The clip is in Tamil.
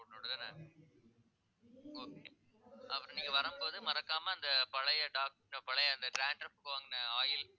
report போட்டுட்டுதானே okay அப்புறம் நீங்க வரும்போது மறக்காம அந்த பழைய doctor பழைய அந்த dandruff க்கு வாங்குன oil